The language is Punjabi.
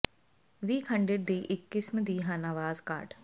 ਵੀ ਖੰਡਿਤ ਦੀ ਇੱਕ ਕਿਸਮ ਦੀ ਹਨ ਆਵਾਜ਼ ਕਾਰਡ